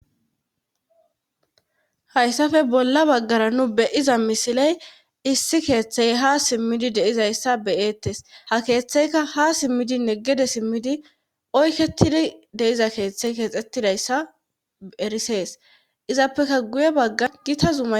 Hayssafe bolla baggara nu beyiza misiley issi keeththey ha simmidi deizayssa beyeettes ha keeththeyka ha simmidinne gede simmidi oykketidi deiza keeththey keexettidayssa erisees izappeka guye baggar gitazuma.